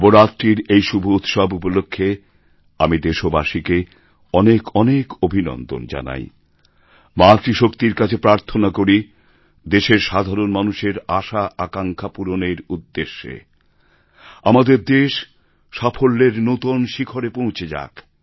নবরাত্রির এই শুভ উৎসব উপলক্ষে আমি দেশবাসীকে অনেক অনেক অভিনন্দন জানাই মাতৃ শক্তির কাছে প্রার্থনা করি দেশের সাধারণ মানুষের আশা আকাঙ্ক্ষা পূরণের উদ্দেশে আমাদের দেশ সাফল্যের নতুন শিখরে পৌঁছে যাক